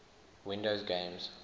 windows games